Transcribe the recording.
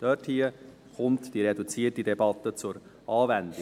Dort kommt die reduzierte Debatte zur Anwendung.